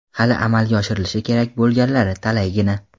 hali amalga oshirilishi kerak bo‘lganlari talaygina.